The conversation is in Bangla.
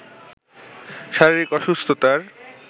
শারীরিক অসুস্থতার